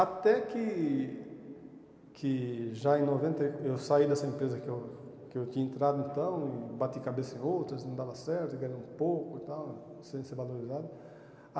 Até que que já em noventa e, eu saí dessa empresa que eu que eu tinha entrado então e bati cabeça em outras, não dava certo, ganhava um pouco e tal, sem ser valorizado.